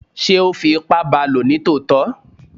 sé o fí ipá baló ní tòtọ?